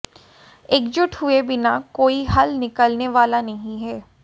एकजुट हुये बिना कोई हल निकलने वाला नहीं है